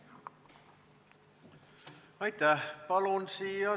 Aitäh!